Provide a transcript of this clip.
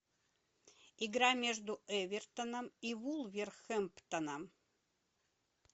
игра между эвертоном и вулверхэмптоном